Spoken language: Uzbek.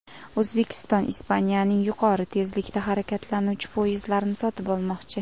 O‘zbekiston Ispaniyaning yuqori tezlikda harakatlanuvchi poyezdlarini sotib olmoqchi.